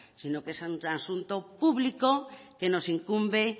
sino que es un asunto público que nos incumbe